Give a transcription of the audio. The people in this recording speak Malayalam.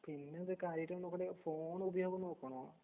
പിന്നെന്ത് കാര്യായിട്ട്നോക്കെണ്ടയോ ഫോണുപയോഗംനോക്കണോ.